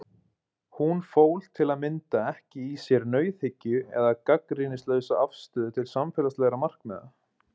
Hún fól til að mynda ekki í sér nauðhyggju eða gagnrýnislausa afstöðu til samfélagslegra markmiða.